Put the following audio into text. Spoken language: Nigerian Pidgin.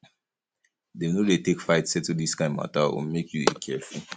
dem no dey take fight settle dis kind mata o make you dey careful